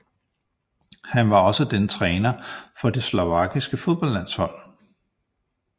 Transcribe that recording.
Han var også den træner for det Slovakiets fodboldlandshold